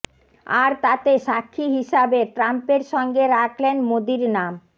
আর তাতে সাক্ষী হিসাবে ট্রাম্পের সঙ্গে রাখলেন মোদীর নাম